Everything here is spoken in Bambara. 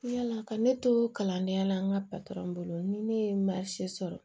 Yala ka ne to kalandenya la an ka bolo ni ne ye sɔrɔ